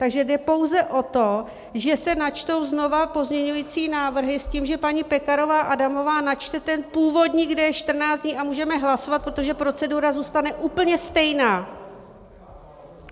Takže jde pouze o to, že se načtou znova pozměňovací návrhy s tím, že paní Pekarová Adamová načte ten původní, kde je 14 dní, a můžeme hlasovat, protože procedura zůstane úplně stejná.